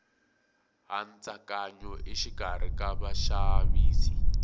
hantsakanyo exikarhi ka vaxavisi